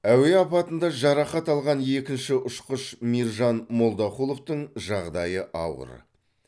әуе апатында жарақат алған екінші ұшқыш мейіржан молдақұловтың жағдайы ауыр